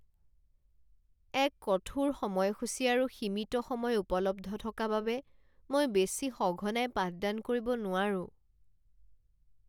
এক কঠোৰ সময়সূচী আৰু সীমিত সময় উপলব্ধ থকা বাবে, মই বেছি সঘনাই পাঠদান কৰিব নোৱাৰোঁ।